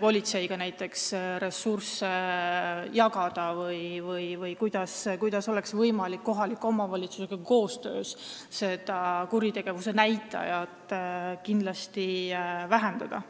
politseiga näiteks ressursse jagama või kuidas oleks võimalik koostöös kohaliku omavalitsusega kuritegevuse näitajaid vähendada?